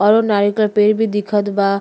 और नारियल के पेड़ भी दिखत बा।